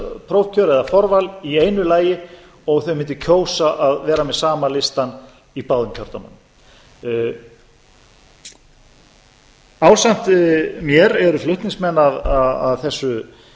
prófkjör eða forval í einu lagi og þau mundu kjósa að vera með sama listann í báðum kjördæmunum ásamt mér eru flutningsmenn að þessu